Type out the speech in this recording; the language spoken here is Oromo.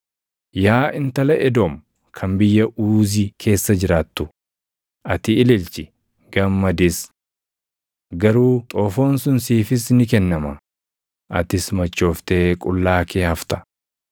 Yaa Intala Edoom kan biyya Uuzi keessa jiraattu ati ililchi, gammadis. Garuu xoofoon sun siifis ni kennama; atis machooftee qullaa kee hafta.